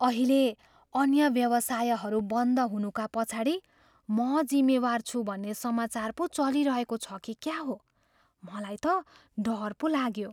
अहिले अन्य व्यवसायहरू बन्द हुनुका पछाडि म जिम्मेवार छु भन्ने समाचार पो चलिरहेको छ कि क्या हो? मलाई त डर पो लाग्यो।